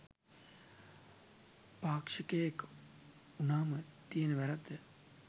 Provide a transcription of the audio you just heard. පාක්ෂිකයෙක් උනාම තියෙන වැරැද්ද.